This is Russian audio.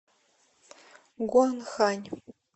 гуанхань